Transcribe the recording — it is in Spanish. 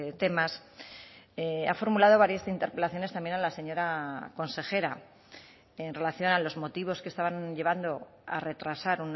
temas ha formulado varias interpelaciones también a la señora consejera en relación a los motivos que estaban llevando a retrasar